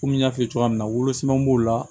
Komi n y'a f'i ye cogoya min na wolo sɛbɛn b'o la